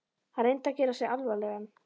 Hann reyndi að gera sig alvarlegan.